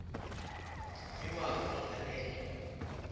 iwakho ngale nto